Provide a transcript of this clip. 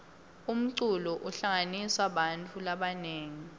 umculo uhlanganisa bantfu labanengi